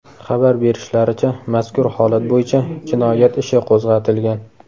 Xabar berishlaricha, mazkur holat bo‘yicha jinoyat ishi qo‘zg‘atilgan.